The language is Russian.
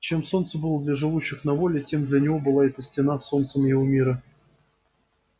чем солнце было для живущих на воле тем для него была эта стена солнцем его мира